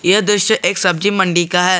ये दृश्य एक सब्जी मंडी का है।